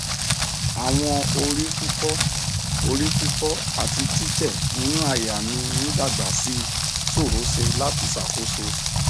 awọn orififo orififo ati titẹ ninu àyà mi n dagba sii sorose lati sakoso